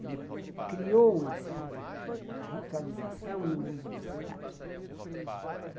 Ele criou uma certa ah ritualização no uso da cidade.